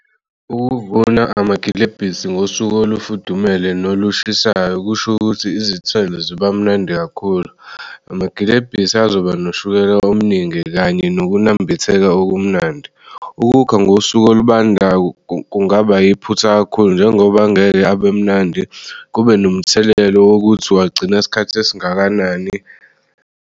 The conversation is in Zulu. Ukuvunwa amagilebhisi ngosuku olufudumele nolushisayo kusho ukuthi izithelo ziba mnandi kakhulu. Amagilebhisi azoba noshukela omningi kanye nokunambitheka okumnandi ukukha ngosuku olubandayo kungaba iphutha kakhulu njengoba angeke abemnandi kube nomthelelo wokuthi wagcina isikhathi esingakanani.